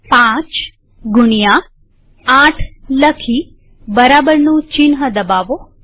૫ગુણ્યા૮ લખી બરાબર ચિહ્ન દબાવો